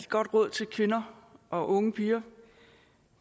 godt råd til kvinder og unge piger